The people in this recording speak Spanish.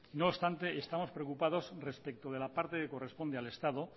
no obstante estamos preocupados respecto de la parte que corresponde al estado